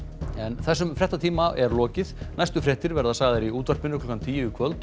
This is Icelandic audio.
þessum fréttatíma er lokið næstu fréttir verða sagðar í útvarpinu klukkan tíu í kvöld og